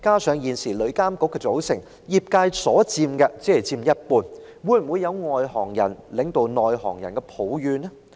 此外，旅監局現時成員中，業界人士只佔一半，會否惹來外行人領導內行人的怨言呢？